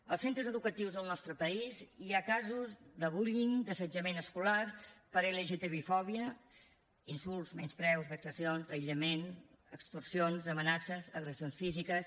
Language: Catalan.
als centres educatius del nostre país hi ha casos de bullying d’assetjament escolar per lgtbifòbia insults menyspreus vexacions aïllament extorsions amenaces agressions físiques